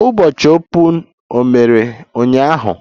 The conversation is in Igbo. Ụbọchị Open mere ụnyaahụ?